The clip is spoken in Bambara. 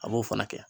An b'o fana kɛ